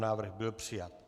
Návrh byl přijat.